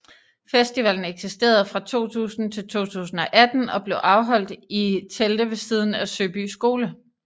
Festivalen eksisterede fra 2000 til 2018 og blev afholdt i telte ved siden af Søby Skole